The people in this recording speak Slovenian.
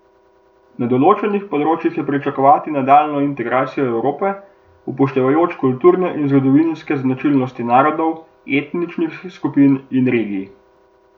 Na določenih področjih je pričakovati nadaljnjo integracijo Evrope, upoštevajoč kulturne in zgodovinske značilnosti narodov, etničnih skupin in regij.